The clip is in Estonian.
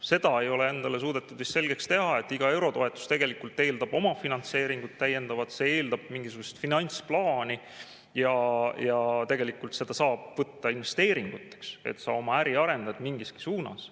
Seda ei ole endale suudetud vist selgeks teha, et iga eurotoetus tegelikult eeldab omafinantseeringut, see eeldab mingisugust finantsplaani ja tegelikult seda saab võtta investeeringuteks – selleks, et sa oma äri arendad mingiski suunas.